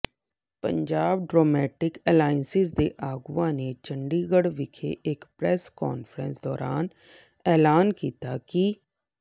Punjab democratic alliance ਦੇ ਆਗੂਆਂ ਨੇ ਚੰਡੀਗੜ੍ਹ ਵਿਖੇ ਇਕ ਪ੍ਰੈਸ ਕਾਨਫਰੰਸ ਦੌਰਾਨ ਐਲਾਨ ਕੀਤਾ ਕਿ